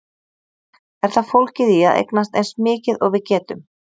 Er það fólgið í að eignast eins mikið og við getum?